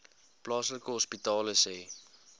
plaaslike hospitale sê